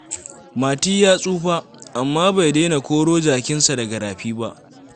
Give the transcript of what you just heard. Mati ya tsufa, amma bai daina koro jakansa daga rafi ba.